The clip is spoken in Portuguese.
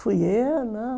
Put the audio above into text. Fui eu, não.